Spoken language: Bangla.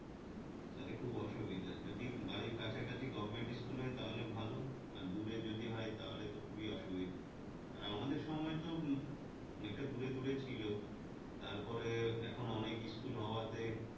তাতে খুব অসুবিধা যদি বাড়ির কাছাকাছি government school হয় তাহলে ভালো আর দূরে যদি হয় তাহলে তো খুবি অসুবিধা আর আমাদের সময় তো অনেকটা দূরে দূরে ছিল তারপরে এখন অনেক school হওয়াতে